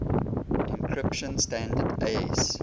encryption standard aes